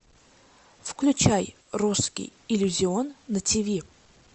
включай русский иллюзион на тв